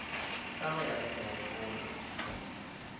sa go ya le megopolo